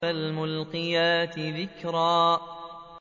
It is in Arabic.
فَالْمُلْقِيَاتِ ذِكْرًا